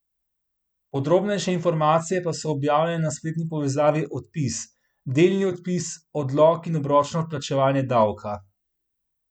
Podrobnejše informacije pa so objavljene na spletni povezavi Odpis, delni odpis, odlog in obročno odplačevanje davka.